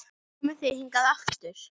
Komið þið hingað aftur!